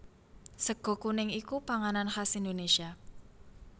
Sega kuning iku panganan khas Indonésia